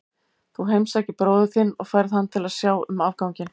Þú heimsækir bróður þinn og færð hann til að sjá um afganginn.